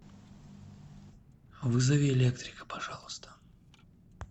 вызови электрика пожалуйста